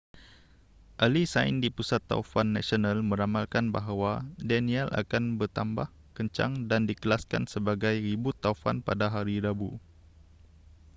ahli sains di pusat taufan nasional meramalkan bahawa danielle akan bertambah kencang dan dikelaskan sebagai ribut taufan pada hari rabu